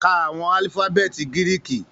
Ká àwọn alifabeeti Giriki!